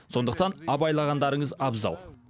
сондықтан абайлағандарыңыз абзал